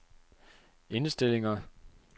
indstillinger